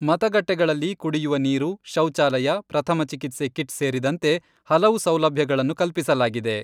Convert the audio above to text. ಮತಗಟ್ಟೆಗಳಲ್ಲಿ ಕುಡಿಯುವ ನೀರು, ಶೌಚಾಲಯ, ಪ್ರಥಮ ಚಿಕಿತ್ಸೆ ಕಿಟ್ಸ್ ಸೇರಿದಂತೆ ಹಲವು ಸೌಲಭ್ಯಗಳನ್ನು ಕಲ್ಪಿಸಲಾಗಿದೆ.